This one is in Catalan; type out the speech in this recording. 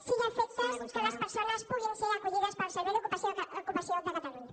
i a efectes que les persones puguin ser acollides pel servei d’ocupació de catalunya